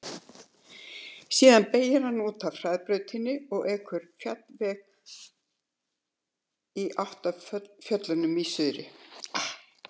Síðan beygir hann út af hraðbrautinni og ekur malarveg í átt að fjöllunum í suðri.